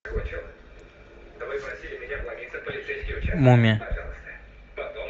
мумия